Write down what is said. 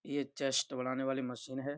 ये चेस्ट बढ़ाने वाली मशीन है।